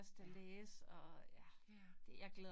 Ja. Ja